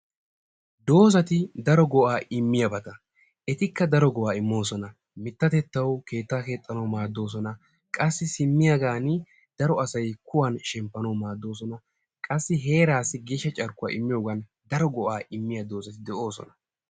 Doozati daro go''a immiyaabata, etikka daro go''a immoosona. Mittatettawu keettaa keexxanawu maaddoosona. Qassi simmiyagan daro asay kuwan shemppanawu maaddoosona. Qassi heeraassi geeshsha carkkuwa immiyoogan daro go''a immiya doozzati de'oosona.